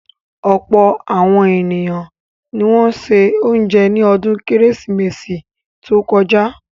Ọ̀pọ̀ àwọn ènìyàn ni wọ́n ṣe oúnjẹ ní ọdún Kérésìmesì tó kọjá.